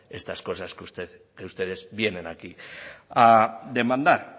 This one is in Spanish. estas cosas que ustedes vienen aquí a demandar